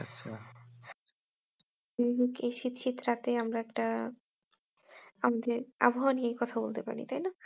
আমরা একটা আমাদের আবহাওয়া নিয়ে কথা বলতে পারি, তাই না? হ্যাঁ